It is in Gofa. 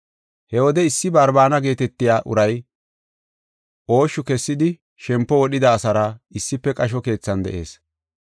He wode issi Barbaana geetetiya uray ooshshu kessidi shempo wodhida asaara issife qasho keethan de7ees.